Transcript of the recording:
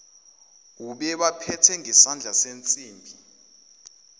ubebaphethe ngesandla sensimbi